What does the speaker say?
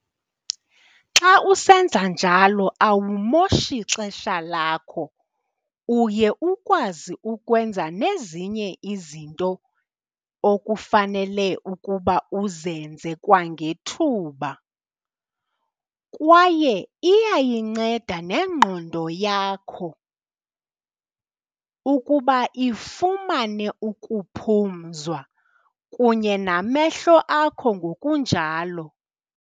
Xa usenza njalo awumoshi xesha lakho, uye ukwazi ukwenza nezinye izinto okufanele ukuba uzenze kwangethuba kwaye iyayinceda nengqondo yakho ukuba ifumane ukuphumzwa kunye namehlo akho ngokunjalo.